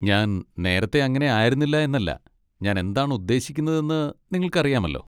ഞാൻ നേരത്തെ അങ്ങനെ ആയിരുന്നില്ല എന്നല്ല, ഞാൻ എന്താണ് ഉദ്ദേശിക്കുന്നതെന്ന് നിങ്ങൾക്കറിയാമല്ലോ.